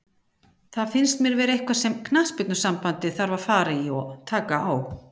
Það finnst mér vera eitthvað sem knattspyrnusambandið þarf að fara í og taka á.